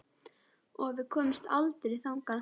Og við komumst aldrei þangað.